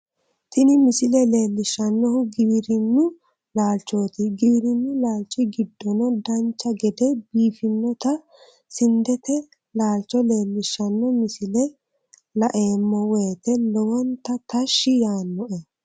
tini misile leellishshannohu giwirinnu laalchooti giwirinnu laalchi giddono dancha gede biiffinnota sindete laalcho leellishshanno misile la"emmo woyiite lowonta tashshi yaannoe